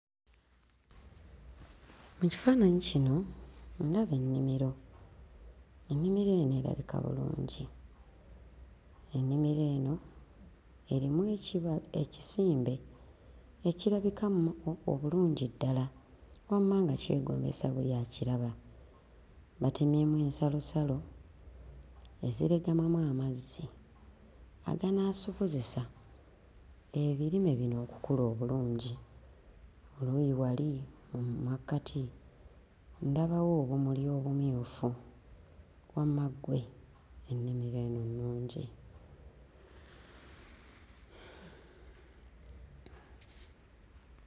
Mu kifaananyi kino ndaba ennimiro. Ennimiro eno erabika bulungi, ennimiro eno erimu ekiba... ekisimbe ekirabika obulungi ddala, wamma nga kyegombesa buli akiraba. Batemyemu ensalosalo eziregamamu amazzi, aganaasobozesa ebirime bino okukula obulungi. Oluuyi wali mu makkati ndabawo obumuli obumyufu, wamma ggwe ennimiro eno nnungi!